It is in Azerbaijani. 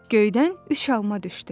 Göydən üç alma düşdü.